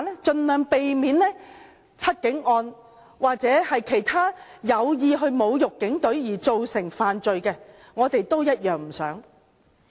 盡量避免"七警案"重演，至於其他有意侮辱警隊而造成犯罪，我們也同樣不想發生。